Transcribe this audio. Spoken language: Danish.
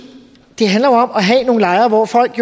have nogle lejre hvor folk